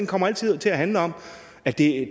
kommer til til at handle om at det